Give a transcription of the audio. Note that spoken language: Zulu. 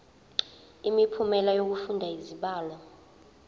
imiphumela yokufunda izibalo